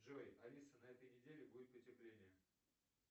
джой алиса на этой неделе будет потепление